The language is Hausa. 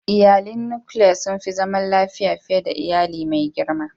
Iyalin nukiliya sun fi zaman lafiya fiye da iyali mai girma.